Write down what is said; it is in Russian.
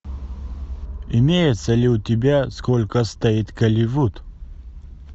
имеется ли у тебя сколько стоит голливуд